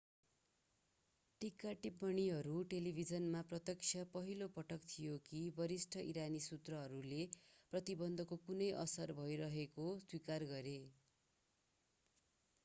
टीका-टिप्पणीहरू टेलिभिजनमा प्रत्यक्ष पहिलो पटक थिए कि वरिष्ठ ईरानी सुत्रहरूले प्रतिबन्धको कुनै असर भइरहेको स्वीकार गरे